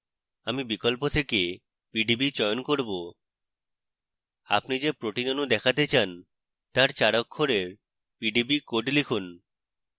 আমি বিকল্প থেকে pdb চয়ন করব আপনি যে protein অণু দেখাতে চান তার 4 অক্ষরের pdb code লিখুন